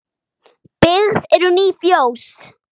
Byggð eru ný fjós.